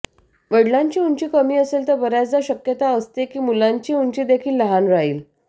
वडिलांची उंची कमी असेल तर बऱ्याचदा शक्यता असते की मुलांची उंची देखील लहान राहील